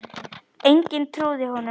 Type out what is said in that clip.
Enginn trúði honum.